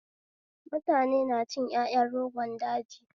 Mutane na cin ƴaƴan rogon daji